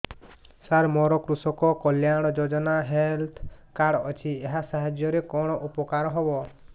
ସାର ମୋର କୃଷକ କଲ୍ୟାଣ ଯୋଜନା ହେଲ୍ଥ କାର୍ଡ ଅଛି ଏହା ସାହାଯ୍ୟ ରେ କଣ ଉପକାର ହବ